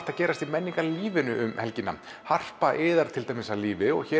að gerast í menningarlífinu um helgina harpa iðar til dæmis af lífi hér